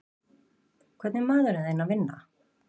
Hvað er maðurinn þinn að vinna?